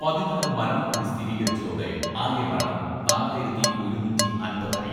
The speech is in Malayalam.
പതിനാല് മരണം കൂടി സ്ഥിരീകരിച്ചതോടെ ആകെ മരണം നാലായിരത്തി ഒരുനൂറ്റി അമ്പത് ആയി.